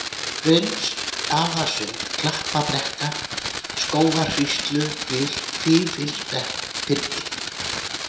Grynnstasund, Klappabrekka, Skógarhríslugil, Fíflsbyrgi